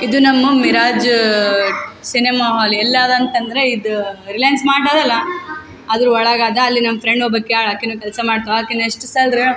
ಇದು ನಮ್ಮ Miraj cinema hall ಎಲ್ಲಾದಂತ್ ಅಂದ್ರೆ ಇದ್ ರಿಲೈನ್ಸ್ ಮಾರ್ಟ್ ಅದಲ್ಲಾ ಅದ್ರ್ ಒಳಾಗದ ಅಲ್ಲಿ ನಂ ಫ್ರೆಂಡ್ ಒಬ್ಬಕ್ಕಿ ಅಧಾಳ್ ಆಕಿನು ಕೆಲ್ಸ ಮಾಡ್ತಳ್ ಆಕಿನ್ ಎಷ್ಟ್ ಸ್ಯಾಲ್ರಿ --